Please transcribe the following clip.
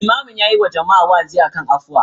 Limamin yayi wa jama'a wa'azi akan afuwa.